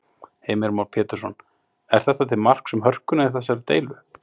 Heimir Már Pétursson: Er þetta til marks um hörkuna í þessari deilu?